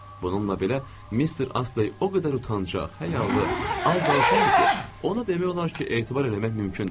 Bununla belə, Mister Astey o qədər utancaq, həyalı, az danışandır ki, ona demək olar ki, etibar eləmək mümkündür.